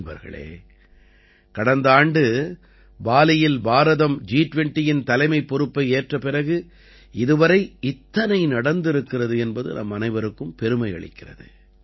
நண்பர்களே கடந்த ஆண்டு பாலியில் பாரதம் ஜி20யின் தலைமைப் பொறுப்பை ஏற்ற பிறகு இதுவரை இத்தனை நடந்திருக்கிறது என்பது நம்மனைவருக்கும் பெருமையளிக்கிறது